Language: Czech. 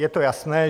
Je to jasné.